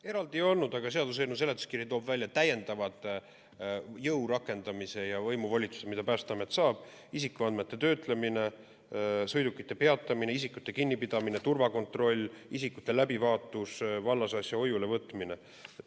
Eraldi ei olnud, aga seaduseelnõu seletuskiri toob välja täiendavad jõu rakendamise ja võimu kasutamise volitused, mis Päästeamet saab: isikuandmete töötlemine, sõidukite peatamine, isikute kinnipidamine, turvakontroll, isikute läbivaatus, vallasasja hoiule võtmine.